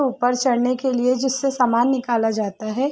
ऊपर चढ़ने के लिए जिससे सामान निकाला जाता है।